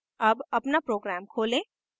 अब अपना program खोलें